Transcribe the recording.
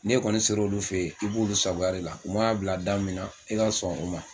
N'i kɔni ser'olu fɛ yen i b'olu sagoya de la, u man'a bila da min na i ka sɔn o ma.